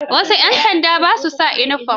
Wasu 'yan sandan ba sa sa inifom.